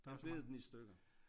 Den bed den i stykker